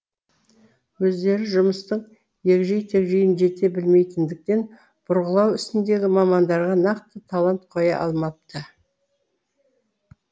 өздері жұмыстың егжей тегжейін жете білмейтіндіктен бұрғылау ісіндегі мамандарға нақты талап қоя алмапты